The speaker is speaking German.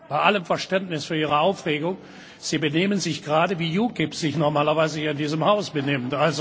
Bei allem Verständnis für Ihre Aufregung Sie benehmen sich gerade, wie UKIP sich normalerweise hier in diesem Haus benimmt.